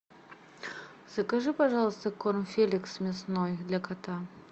закажи пожалуйста корм феликс мясной для кота